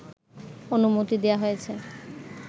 অনুমতি দেওয়া হয়েছে